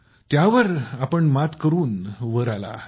त्यातून आपण मात करून वर आला आहात